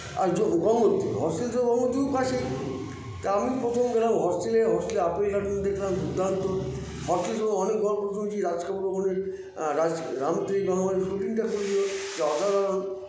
আর যো গঙ্গোত্রী ভরসে তো গঙ্গোত্রীর কাছেই তা আমি প্রথমে গেলাম hostail -এ hostail -এ apple garden দেখলাম দূর্দান্ত hostail -এ অনেক ঘর শুনেছি রাজ কাপুর ওখানে রাজ আআ রাম তেরি গঙ্গা মেলি shooting -টা করেছিলো তা অসাধারণ